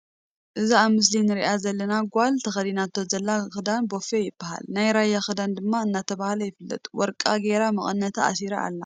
እዛ ኣብ ምስሊ እንሪኣ ዝላን ጋል ተከዲናቶ ዘላ ክዳን ቦፊ ይብሃል ናይ ራያ ክዳን ድማ እናተባሃል ይፍለጥ ውርቃ ጌራ ምቅንታ ኣሲራ ኣላ።